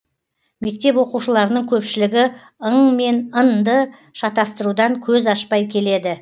мектеп оқушыларының көпшілігі ң мен н ды шатыстырудан көз ашпай келеді